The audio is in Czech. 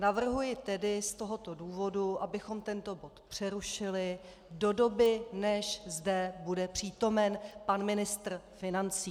Navrhuji tedy z tohoto důvodu, abychom tento bod přerušili do doby, než zde bude přítomen pan ministr financí.